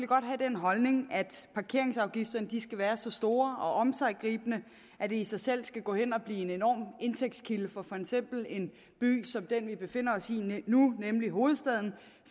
godt have den holdning at parkeringsafgifterne skal være så store og omsiggribende at det i sig selv skal gå hen at blive en enorm indtægtskilde for for eksempel en by som den vi befinder os i nu nemlig hovedstaden